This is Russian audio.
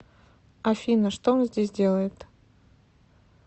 афина что он здесь делает